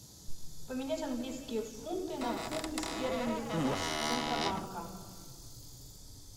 поменять английские фунты на фунты стерлинги курс центробанка